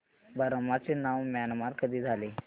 Burma चे नाव Myanmar कधी झाले